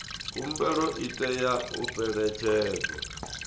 khumbelo i tea u fhelekedzwa